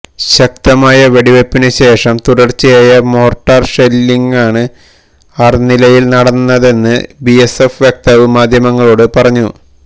ശക്തമായ വെടിവെപ്പിനു ശേഷം തുടര്ച്ചയായ മോര്ട്ടാര് ഷെല്ലിംഗാണ് അര്നിയയില് നടന്നതെന്ന് ബിഎസ്എഫ് വക്താവ് മാധ്യമങ്ങളോട് പറഞ്ഞു